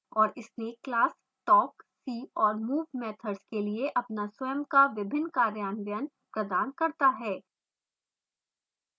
और snake class talk see और move methods के लिए अपना स्वयं का विभिन्न कार्यान्वयन प्रदान करता है